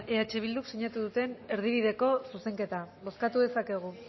eh bilduk sinatu duten erdibideko zuzenketa bozkatu dezakegu